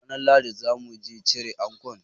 Ranar Lahadi zamuji cire ankon